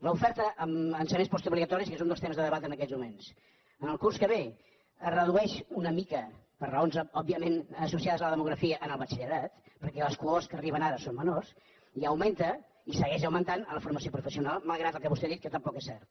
l’oferta en ensenyaments postobligatoris que és un dels temes de debat en aquests moments en el curs que ve es redueix una mica per raons òbviament associades a la demografia en el batxillerat perquè les cohorts que hi arriben ara són menors i augmenta i segueix augmentant en la formació professional malgrat el que vostè ha dit que tampoc és cert